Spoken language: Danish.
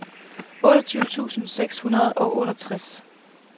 otteogtyve tusind seks hundrede og otteogtres